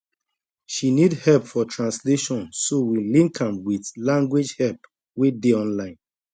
she need help for translation so we link am with language help wey dey online